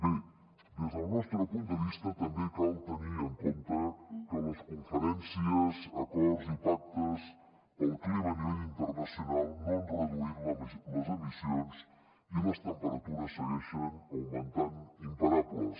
bé des del nostre punt de vista també cal tenir en compte que les conferències acords i pactes pel clima a nivell internacional no han reduït les emissions i les temperatures segueixen augmentant imparables